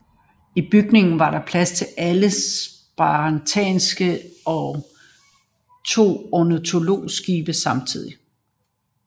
I bygningen var der plads til alle spanterne til to orlogsskibe samtidigt